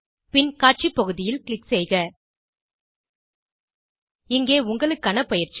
பின் காட்சி பகுதியில் க்ளிக் செய்க இங்கே உங்களுக்கான பயிற்சி